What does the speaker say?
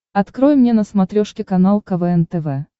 открой мне на смотрешке канал квн тв